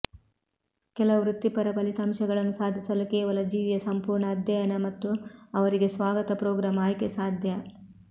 ಕೆಲವು ವೃತ್ತಿಪರ ಫಲಿತಾಂಶಗಳನ್ನು ಸಾಧಿಸಲು ಕೇವಲ ಜೀವಿಯ ಸಂಪೂರ್ಣ ಅಧ್ಯಯನ ಮತ್ತು ಅವರಿಗೆ ಸ್ವಾಗತ ಪ್ರೋಗ್ರಾಂ ಆಯ್ಕೆ ಸಾಧ್ಯ